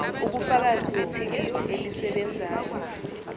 ubufakazi bethikithi elisebenzayo